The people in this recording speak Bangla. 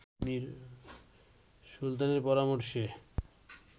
সুলতানের পরামর্শে